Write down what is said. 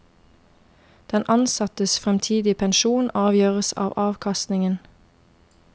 Den ansattes fremtidige pensjon avgjøres av avkastningen.